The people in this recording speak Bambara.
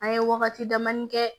An ye wagati damadɔni kɛ